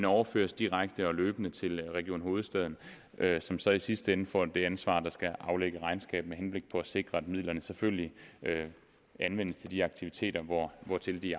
overføres direkte og løbende til region hovedstaden som så i sidste ende får det ansvar at skulle aflægge regnskab med henblik på at sikre at midlerne selvfølgelig anvendes til de aktiviteter hvortil de